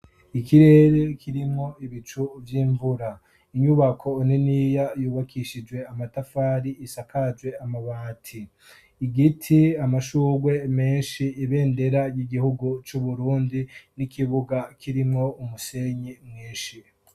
Ikirere kirimwo ibicu vy'imvura, inyubako niniya yubakishijwe amatafari isakaje amabati, igiti, amashugwe menshi, ibendera ry'igihugu cy'uburundi n'ikibuga kirimo umusenyi mwinshi.